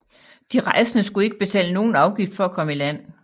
De rejsende skulle ikke betale nogen afgift for at komme i land